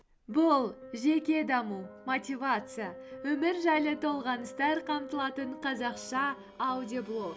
бұл жеке даму мотивация өмір жайлы толғаныстар қамтылатын қазақша аудиоблог